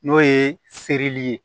N'o ye seere ye